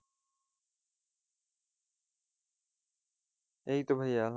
এই তো ভাইয়া,